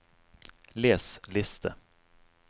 les liste